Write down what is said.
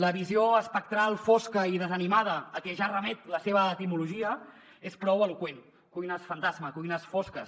la visió espectral fosca i desanimada a què ja remet la seva etimologia és prou eloqüent cuines fantasma cuines fosques